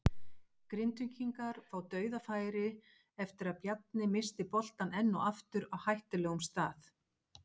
Grindvíkingar fá DAUÐAFÆRI eftir að Bjarni missti boltann enn og aftur á hættulegum stað!